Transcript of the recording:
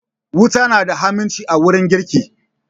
Wuta na da huhimmaci a wurin girki